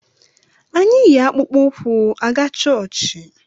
Anyị yi akpụkpụ ụkwụ aga chọọchị